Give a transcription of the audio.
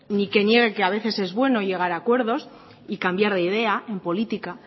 ni que niegue que a veces es bueno llegar acuerdos y cambiar de idea en política